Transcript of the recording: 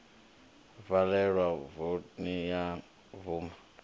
valelwa voni ya bvuma ya